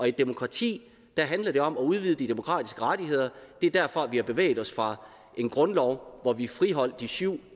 i et demokrati handler det om at udvide de demokratiske rettigheder det er derfor vi har bevæget os fra en grundlov hvor vi friholdt de syv